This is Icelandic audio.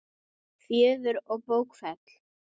Fjöður og bókfell